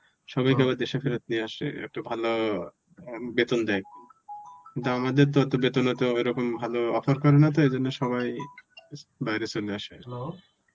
সবাই কে আবার দেশে ফেরত নিয়ে আসে. একটু ভালো অম~ বেতন দেয় আমাদের তত বেতন অত এরকম ভালো অফার করে না তো এই জন্য সবাই বাইরে চলে আসে.